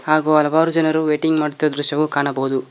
ಹಾಗು ಹಲವಾರು ಜನರು ವೈಟಿಂಗ್ ಮಾಡುತ್ತಿರುವ ದೃಶ್ಯವು ಕಾಣಬಹುದು.